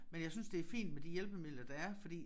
Men jeg synes det fint med de hjælpemidler der er fordi